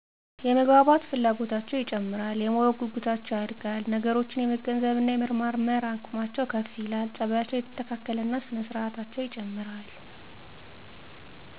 - የመግባባት ፍላጎታቸው ይጨምራል። - የማወቅ ጉጉታቸው ያድጋል። - ነገሮችን የመገንዘብ እና የመመርመር አቅማቸው ከፍ ይላል። - ፀባያቸው እየተስተካከለ እና ስነ ስርአታቸው ይጨምራል።